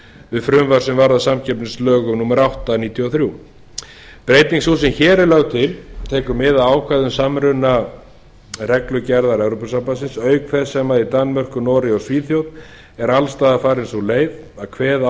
við frumvarp sem varð að samkeppnislögum númer átta nítján hundruð níutíu og þrjú breyting sú sem hér er lögð til tekur mið af ákvæðum samrunareglugerðar evrópusambandsins auk þess sem í danmörku noregi og svíþjóð er alls staðar farin sú leið að kveða